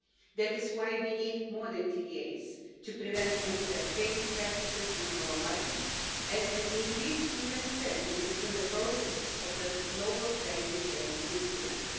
That is why we need more than TDAs, in order to prevent unfair trading practices in our markets and an increase in transparency within the processes of global value chain instruments.